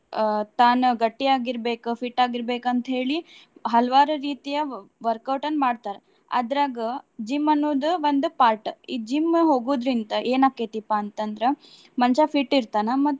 ಆಹ್ ತಾನ್ ಗಟ್ಟಿ ಆಗಿರ್ಬೆಕ್ fit ಆಗಿರ್ಬೆಕ್ ಅಂತ ಹೇಳಿ ಹಲವಾರು ರೀತಿಯ work out ನ್ ಮಾಡ್ತಾರ. ಅದ್ರಾಗ gym ಅನ್ನೋದು ಒಂದು part . ಈ gym ಹೋಗುದ್ರಿಂದ ಏನ್ ಆಕ್ಕೇತಿಪಾ ಅಂತ ಅಂದ್ರ ಮನಷ್ಯಾ fit ಇರ್ತಾನ.